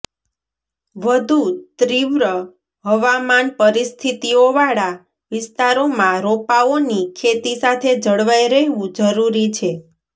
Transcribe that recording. વધુ તીવ્ર હવામાન પરિસ્થિતિઓવાળા વિસ્તારોમાં રોપાઓની ખેતી સાથે જળવાઈ રહેવું જરૂરી છે